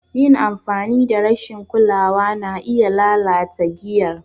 Yin amfani da rashin kulawa na iya lalata giyar.